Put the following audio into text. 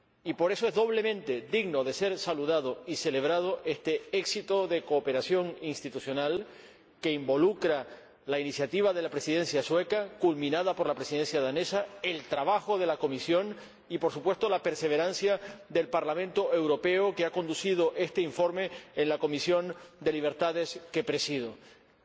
Y por eso es doblemente digno de ser saludado y celebrado este éxito de cooperación institucional, que involucra la iniciativa de la Presidencia sueca, culminada por la Presidencia danesa, el trabajo de la Comisión y, por supuesto, la perseverancia del Parlamento Europeo, que ha conducido a este informe de la Comisión de Libertades Civiles, Justicia y Asuntos de Interior que presido.